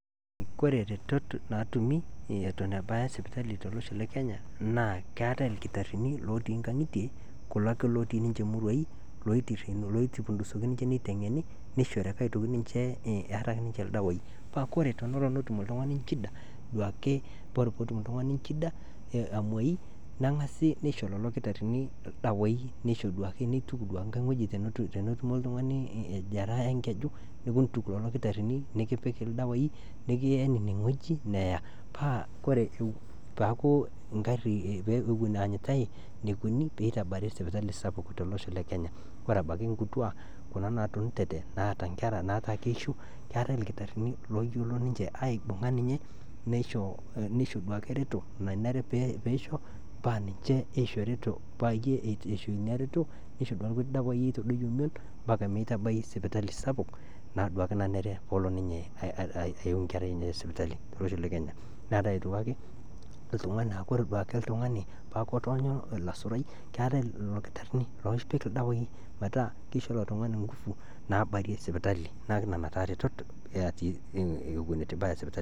Koree retot naatumi eton ibaya sipitali toloshon le kenya naa keatai irkitarini lotii inkang'itie kulo ake lotii ninche muruaii loipundusoki ninche neiteng'eni neishori ake aitoki ninche eeata sii aitoki ninche irdawaaii paa kore tenelo netum iltungani inchida duake kore peetum iltungani inchida aamoi neng'asi, neisho lelo kitarini irdawaii neisho duaake neituk duake inkae weji tenetumo iltungani ijeraa enkeju nikiintuk lelo irkitarini nikipik irdawaii nikien ineweji neeya paaku ore peyie ewen eanyita neikoni peitabari sipitali sapuk tolosho le [cs[kenya koree abaki inkituaa kuna naatunutete naata inkerra nataa keisho keatai irkitarini looyiolo ninche aibung'a ninche neisho duake ereto nanare peisho paa ninche oisho ireto neisho duake lkutii irdawaai oitadoiyo imieon[cs[mpaka meitabai sipitali sapuk naa duake nanere poolo ninye aiu inkerrai enye te sipitali tolosho le kenya, neatae aitoki ake ltungani naa kore duake ltungani paaku etoonyo ollasurai keatai lelo lkitarini oopik ldawai metaa keisho illo tungani engufu naabarie sipitali neaku nena taa iretot natii eton ibaya sipitali.